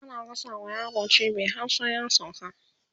ana gasa ma yaro cibi har sai ya sauka